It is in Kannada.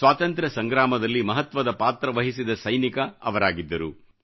ಸ್ವಾತಂತ್ರ ಸಂಗ್ರಾಮದಲ್ಲಿ ಮಹತ್ವದ ಪಾತ್ರ ವಹಿಸಿದ ಸೈನಿಕ ಅವರಾಗಿದ್ದರು